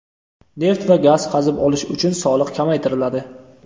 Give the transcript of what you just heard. neft va gaz qazib olish uchun soliq kamaytiriladi.